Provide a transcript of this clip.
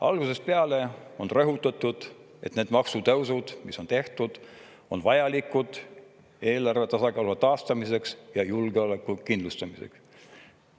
Algusest peale on rõhutatud, et need maksutõusud, mis on tehtud, on vajalikud eelarve tasakaalu taastamiseks ja julgeoleku kindlustamiseks.